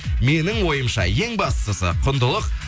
менің ойымша ең бастысы құндылық